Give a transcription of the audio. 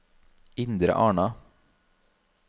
Indre Arna